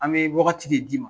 An bɛ waagati de d'i ma